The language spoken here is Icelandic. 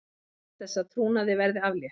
Krefst þess að trúnaði verði aflétt